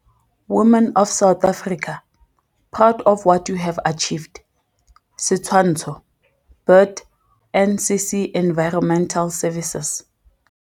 "Women of South Africa, be proud of what you have achieved." Setshwantsho - Burt - NCC Environmental Services.